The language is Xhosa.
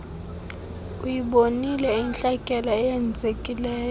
uyibonile intlekele oyenzileyo